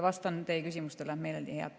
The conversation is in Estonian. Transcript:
Vastan meeleldi teie küsimustele.